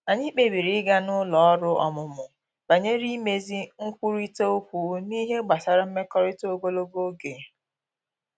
Anyị kpebiri ịga n’ụlọ ọrụ ọmụmụ banyere imezi nkwurịta okwu n’ihe gbasara mmekọrịta ogologo oge